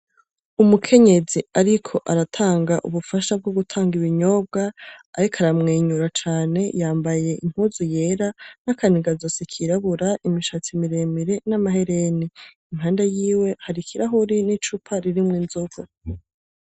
Umukenyezi ariko aratanga ubufasha bwo gutanga ibinyobwa, ariko aramwenyura cane, yambaye impuzu yera, nakanigazosi kirabura, imishatsi miremire n'amahereni, impande yiwe har'ikarahuri n'icupa ririmwo inzoga.